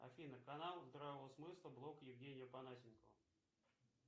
афина канал здравого смысла блог евгения понасенкова